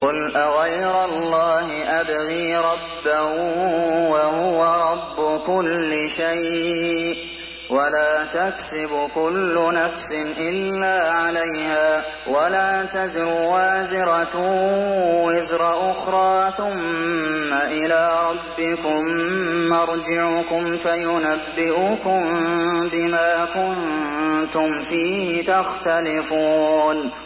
قُلْ أَغَيْرَ اللَّهِ أَبْغِي رَبًّا وَهُوَ رَبُّ كُلِّ شَيْءٍ ۚ وَلَا تَكْسِبُ كُلُّ نَفْسٍ إِلَّا عَلَيْهَا ۚ وَلَا تَزِرُ وَازِرَةٌ وِزْرَ أُخْرَىٰ ۚ ثُمَّ إِلَىٰ رَبِّكُم مَّرْجِعُكُمْ فَيُنَبِّئُكُم بِمَا كُنتُمْ فِيهِ تَخْتَلِفُونَ